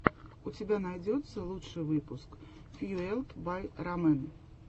у тебя найдется лучший выпуск фьюэлд бай рамэн